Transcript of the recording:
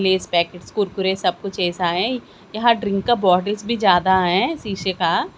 Less packet Kurkure सब कुछ ऐसा है यहां ड्रिंक का बॉटल्स भी ज्यादा है शीशे का।